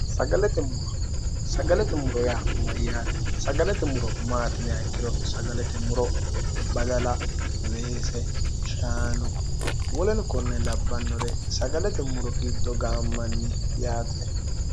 sagalete muro yaa mayyaate sagalete muro maatinia ikkiro sagalete muro badala weese shaano woleno konne labbannore sagalete muro giddo ga ammanni yaate